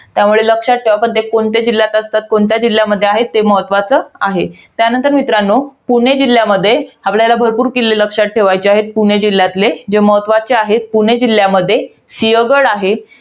त्यामुळे लक्षात ठेवा. पण ते कोणत्या जिल्ह्यात असतात? कोणत्या जिल्ह्यामध्ये आहेत, हे महत्वाचं आहे. त्यानंतर मित्रांनो, पुणे जिल्ह्यामध्ये आपल्याला भरपूर किल्ले लक्षात ठेवायचे आहेत. पुणे जिल्ह्यातले. जे महत्वाचे आहेत, पुणे जिल्ह्यामध्ये. सिंहगड आहे.